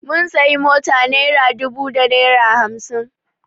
Mun sayi mota naira dubu da naira hamsin